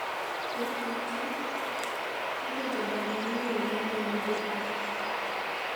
E Picha: Kaka jodar mani Uganda yudo pii.